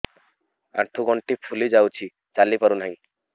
ଆଂଠୁ ଗଂଠି ଫୁଲି ଯାଉଛି ଚାଲି ପାରୁ ନାହିଁ